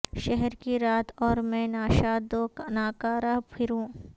شہر کی رات اور میں ناشاد و نا کا رہ پھروں